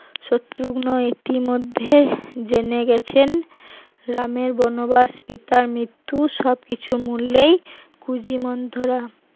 শত্রুগ্ন ইতিমধ্যে জেনে গেছেন রামের বনবাস পিতার মৃত্যু সব কিছু মূলেই কুজি মন্থরা